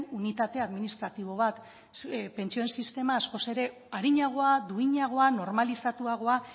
unitate administratibo bat pentsioen sistema askoz ere arinagoa duinagoa normalizatuagoa